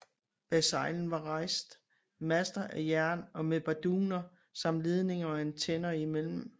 Bag salen var rejst master af jern med barduner samt ledninger og antenner imellem